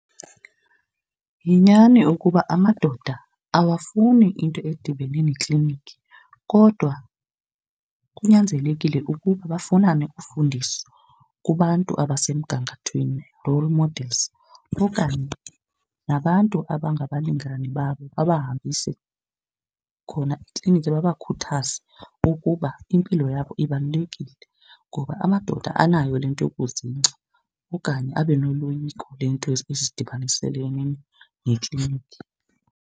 Yinyani ukuba amadoda awafuni into edibene nekliniki kodwa kunyanzelekile ukuba bafumane ufundiso kubantu abasemgangathweni, role models, okanye nabantu abangabalingani babo babahambise khona ekliniki, babakhuthaze ukuba impilo yabo ibalulekile. Ngoba amadoda anayo le nto yokuzingca okanye abe noloyiko le nto ezidibanisele nekliniki.